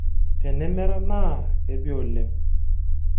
Tenemera naa kepi oleng.